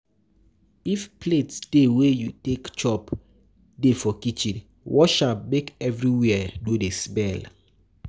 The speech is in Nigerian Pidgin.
If plate dey wey you take chop dey for kitchen, wash am make everywhere no dey smell